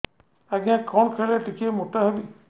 ଆଜ୍ଞା କଣ୍ ଖାଇଲେ ଟିକିଏ ମୋଟା ହେବି